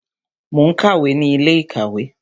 Mo ń kàwé ní ilé ìkàwé